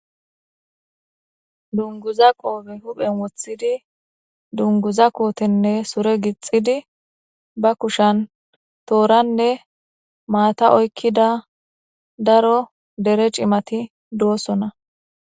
dunguza qoobe huphen wothidi dunguza kootenne sure gixxidi ba kushan tooranne maata oykkida daro dere cimati doosona.